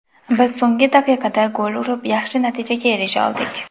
Biz so‘nggi daqiqada gol urib, yaxshi natijaga erisha oldik.